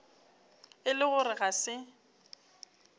e le gore ga se